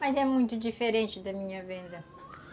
Mas é muito diferente da minha venda.